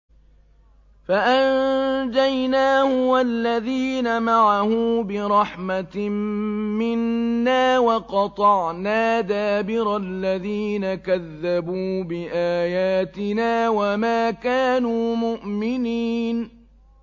فَأَنجَيْنَاهُ وَالَّذِينَ مَعَهُ بِرَحْمَةٍ مِّنَّا وَقَطَعْنَا دَابِرَ الَّذِينَ كَذَّبُوا بِآيَاتِنَا ۖ وَمَا كَانُوا مُؤْمِنِينَ